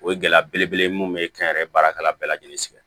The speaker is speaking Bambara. O ye gɛlɛya belebele ye mun be kɛnyɛrɛ baarakɛla bɛɛ lajɛlen sigi